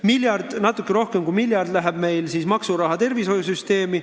Miljard või natuke rohkem kui miljard läheb meil maksuraha tervishoiusüsteemi.